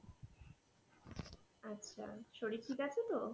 আচ্ছা শরীর ঠিক আছে তো?